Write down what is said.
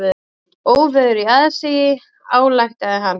Óveður í aðsigi, ályktaði hann.